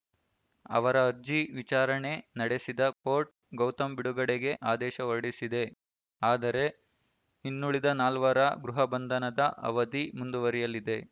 ಅವರ ಅರ್ಜಿ ವಿಚಾರಣೆ ನಡೆಸಿದ ಕೋರ್ಟ್‌ ಗೌತಮ್‌ ಬಿಡುಗಡೆಗೆ ಆದೇಶ ಹೊರಡಿಸಿದೆ ಆದರೆ ಇನ್ನುಳಿದ ನಾಲ್ವರ ಗೃಹ ಬಂಧನದ ಅವಧಿ ಮುಂದುವರಿಯಲಿದೆ